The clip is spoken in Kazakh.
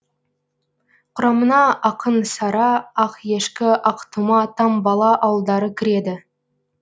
құрамына ақын сара ақешкі ақтұма тамбала ауылдары кіреді